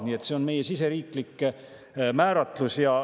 Nii et see on meie siseriiklik määratlus.